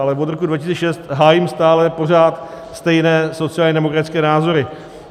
Ale od roku 2006 hájím stále pořád stejné sociálně demokratické názory.